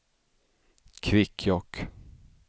Kvikkjokk